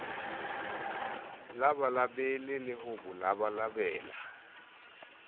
labalabele le ho bo labalabela